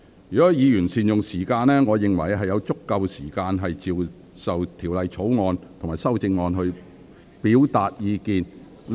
如果議員善用時間，我認為議員有足夠時間就《國歌條例草案》及其修正案表達意見......